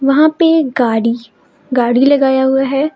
यहां पे एक गाड़ी गाड़ी लगाया हुआ है।